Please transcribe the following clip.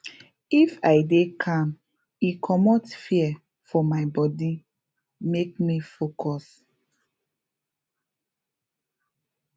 if i dey calm e commot fear for my bode make me focus